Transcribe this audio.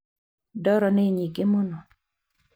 Ndoro nĩ nyingĩ mũno.